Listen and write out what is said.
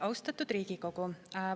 Austatud Riigikogu!